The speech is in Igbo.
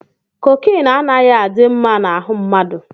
Kokine anaghị adị mma na ahụ mmadụ.